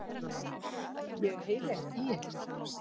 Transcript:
Ég heyri ekki í ykkur.